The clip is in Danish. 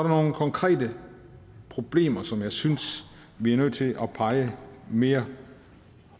nogle konkrete problemer som jeg synes vi er nødt til at pege mere